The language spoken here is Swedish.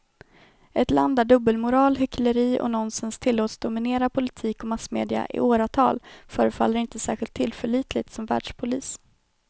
Ett land där dubbelmoral, hyckleri och nonsens tillåts dominera politik och massmedia i åratal förefaller inte särskilt tillförlitligt som världspolis.